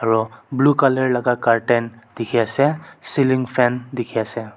aro blue colour la ka curtain dikey ase ceiling fan dikey ase.